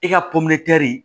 I ka